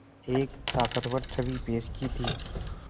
एक ताक़तवर छवि पेश की थी